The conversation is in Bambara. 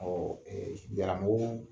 Awɔ